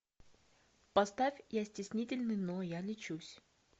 поставь я стеснительный но я лечусь